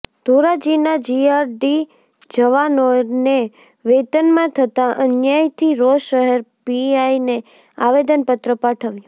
ધોરાજીના GRD જવાનોને વેતનમાં થતાં અન્યાયથી રોષ શહેર પીઆઈને આવેદનપત્ર પાઠવાયું